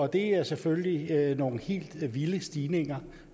det er selvfølgelig nogle helt vilde stigninger